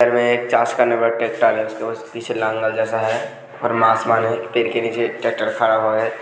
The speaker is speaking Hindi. पीछे लाल जैसा है और पेड़ के निचे ट्रेक्टर खड़ा है --